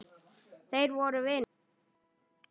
Þeir voru vinir.